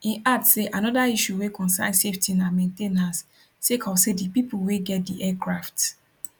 im add say anoda issue wey concern safety na main ten ance sake of say di pipo wey get di aircrafts